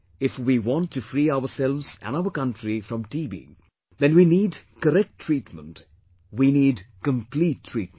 If we want to free ourselves and our country from TB, then we need correct treatment, we need complete treatment